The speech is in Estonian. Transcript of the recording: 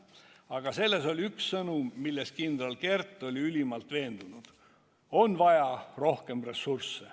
Aga selles oli üks sõnum, milles kindral Kert oli ülimalt veendunud: on vaja rohkem ressursse.